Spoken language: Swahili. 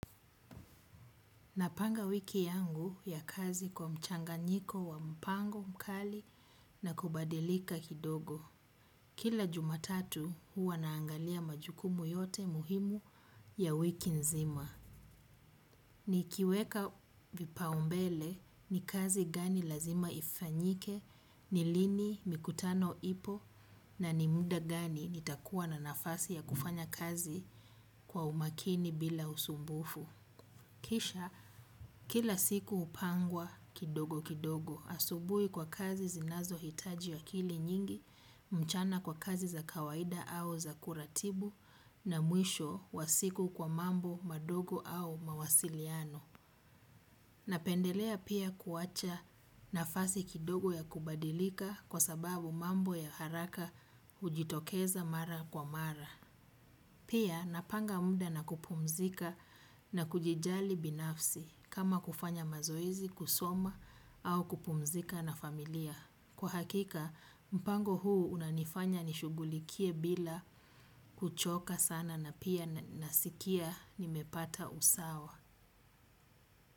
Napanga wiki yangu ya kazi kwa mchanganyiko wa mpango, mkali na kubadilika kidogo. Kila jumatatu huwa naangalia majukumu yote muhimu ya wiki nzima. Nikiweka vipaumbele ni kazi gani lazima ifanyike, ni lini, mikutano, ipo na nimunda gani nitakuwa na nafasi ya kufanya kazi kwa umakini bila usumbufu. Kisha kila siku hupangwa kidogo kidogo asubui kwa kazi zinazo hitaji akili nyingi mchana kwa kazi za kawaida au za kuratibu na mwisho wa siku kwa mambo madogo au mawasiliano. Napendelea pia kuwacha nafasi kidogo ya kubadilika kwa sababu mambo ya haraka ujitokeza mara kwa mara. Pia napanga muda na kupumzika na kujijali binafsi kama kufanya mazoezi, kusoma au kupumzika na familia. Kwa hakika, mpango huu unanifanya nishugulikie bila kuchoka sana na pia nasikia nimepata usawa.